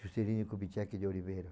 Juscelino Kubitschek de Oliveira.